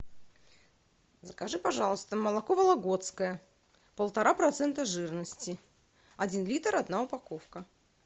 закажи пожалуйста молоко вологодское полтора процента жирности один литр одна упаковка